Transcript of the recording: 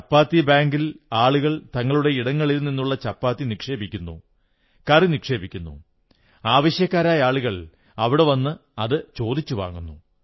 ചപ്പാത്തി ബാങ്കിൽ ആളുകൾ തങ്ങളുടെ ഇടങ്ങളിൽ നിന്നുള്ള ചപ്പാത്തി നിക്ഷേപിക്കുന്നു കറി നിക്ഷേപിക്കുന്നു ആവശ്യക്കാരായ ആളുകൾ അവിടെ നിന്ന് അത് ചോദിച്ചു വാങ്ങുന്നു